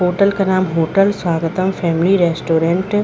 hotel का नाम hotel Swagatam family restaurant --